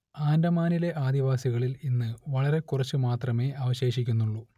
ആൻഡമാനിലെ ആദിവാസികളിൽ ഇന്ന് വളരെക്കുറച്ചുമാത്രമേ അവശേഷിക്കുന്നുള്ളൂ